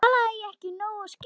Talaði ég ekki nógu skýrt?